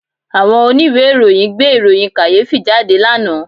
Àwọn oníwèé ìròyìn gbé ìròyìn kàyéfì jáde lánàá